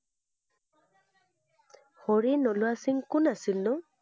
হৰি নলোৱা সিং কোন আছিল নো?